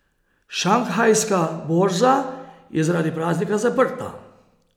Šanghajska borza je zaradi praznika zaprta.